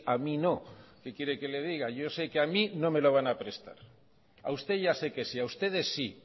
a mí no qué quiere que le diga yo sé que a mí no me lo van a prestar a usted ya sé que sí a ustedes sí